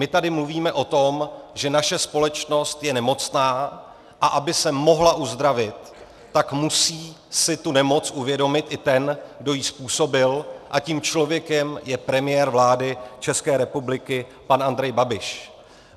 My tady mluvíme o tom, že naše společnost je nemocná, a aby se mohla uzdravit, tak musí si tu nemoc uvědomit i ten, kdo ji způsobil, a tím člověkem je premiér vlády České republiky, pan Andrej Babiš.